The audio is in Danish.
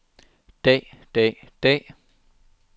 dag dag dag